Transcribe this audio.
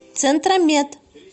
центромед